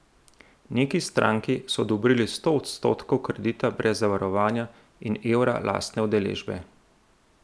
Neki stranki so odobrili sto odstotkov kredita brez zavarovanja in evra lastne udeležbe.